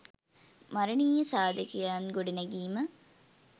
මරනීය සාධකයන් ගොඩනැගීම